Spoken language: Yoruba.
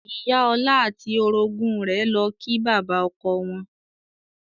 Ìyá ọlá àti orogún rẹ̀ lọ kí bàbá ọkọ wọn.